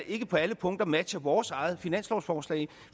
ikke på alle punkter matcher vores eget finanslovsforslag